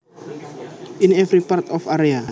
In every part or area